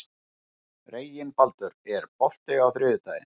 Reginbaldur, er bolti á þriðjudaginn?